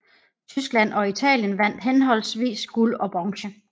Tyskland og Italien vandt henholdsvis guld og bronze